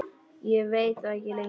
Ég veit það ekki lengur.